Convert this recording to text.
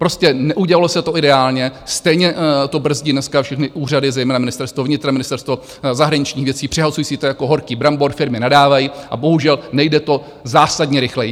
Prostě neudělalo se to ideálně, stejně to brzdí dneska všechny úřady, zejména Ministerstvo vnitra, Ministerstvo zahraničních věcí, přehazují si to jako horký brambor, firmy nadávají, a bohužel nejde to zásadně rychleji.